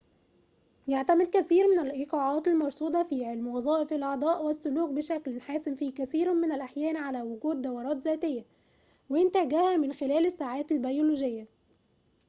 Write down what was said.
يعتمد كثير من الإيقاعات المرصودة في علم وظائف الأعضاء والسلوك بشكل حاسم في كثير من الأحيان على وجود دورات ذاتية وإنتاجها من خلال الساعات البيولوجية